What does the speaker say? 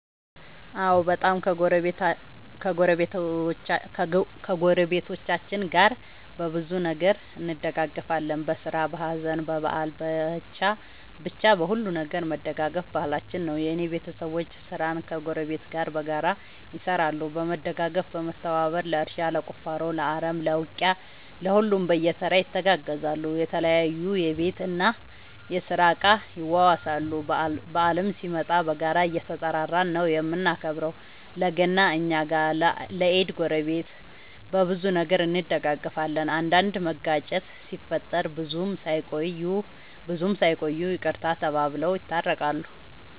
አዎ በጣም ከ ጎረቤቶቻችን ጋር በብዙ ነገር እንደጋገፋለን በስራ በሀዘን በበአል በቻ በሁሉም ነገር መደጋገፍ ባህላችን ነው። የእኔ ቤተሰቦቼ ስራን ከ ጎረቤት ጋር በጋራ ይሰራሉ በመደጋገፍ በመተባበር ለእርሻ ለቁፋሮ ለአረም ለ ውቂያ ለሁሉም በየተራ ይተጋገዛሉ የተለያዩ የቤት እና የስራ እቃ ይዋዋሳሉ። በአልም ሲመጣ በጋራ እየተጠራራን ነው የምናከብረው ለ ገና እኛ ጋ ለ ኢድ ጎረቤት። በብዙ ነገር እንደጋገፋለን። አንዳንድ መጋጨት ሲፈጠር ብዙም ሳይቆዩ ይቅርታ ተባብለው የታረቃሉ።